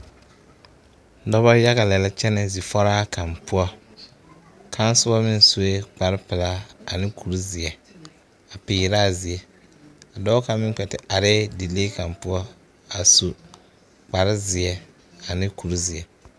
Dͻbͻ yaga lԑ kyԑnԑ zifͻraa kaŋa poͻ, kaŋa soba meŋ soe kpare pelaa ane kuri zeԑ a peerԑ a zie, dͻͻ kaŋa meŋ kpԑ te are dilee kaŋa poͻ a su kpare zeԑ ane kuri zeԑ.